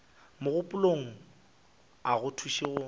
mogopolong a go thuše go